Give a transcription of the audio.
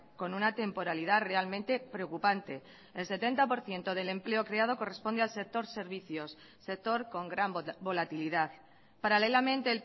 con una temporalidad realmente preocupante el setenta por ciento del empleo creado corresponde al sector servicios sector con gran volatilidad paralelamente